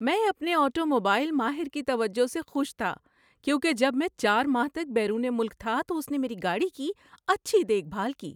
‏میں اپنے آٹوموبائل ماہر کی توجہ سے خوش تھا کیونکہ جب میں چار ماہ تک بیرون ملک تھا تو اس نے میری گاڑی کی اچھی دیکھ بھال کی۔